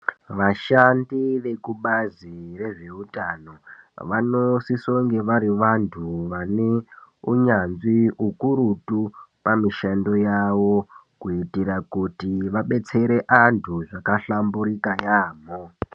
Vashandi vekubazi rezveutano vanosisonge vari vantu vaneunyanzvi hukurutu pamishando yavo. Kuitira kuti vabetsere antu zvakahlamburika yaamho.